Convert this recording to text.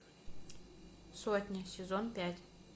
сотня сезон пять